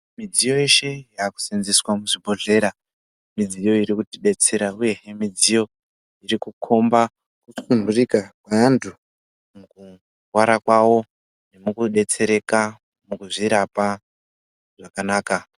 Midziyo yeshe yaakuseenzeswa muzvibhodhlera, midziyo iri kuti detsera ,uyehe midziyo iri kukhomba kusunturika kweantu, mukurwara kwavo, nemukudetsereka, mukuzvirapa zvakanaka